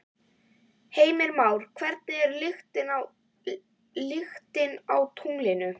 Heimir Már: Hvernig er lyktin á tunglinu?